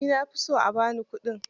Ni na fi so a ba ni kuɗin.